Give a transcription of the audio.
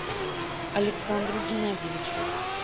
александру геннадьевичу